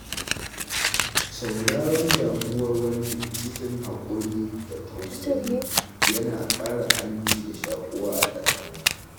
Sauraron damuwar wani cikin haƙuri da tausayi yana ƙara aminci da shaƙuwa a tsakani.